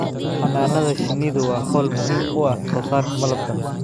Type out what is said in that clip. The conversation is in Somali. Xannaanada shinnidu waa hawl muhiim u ah soosaarka malabka.